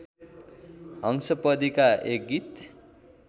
हंसपदिका एक गीत